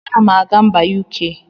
Anam aga mba UK.